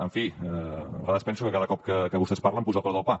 en fi a vegades penso que cada cop que vostès parlen s’apuja el preu del pa